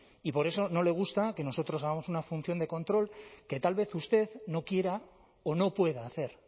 y por eso no le gusta que nosotros hagamos una función de control que tal vez usted no quiera o no pueda hacer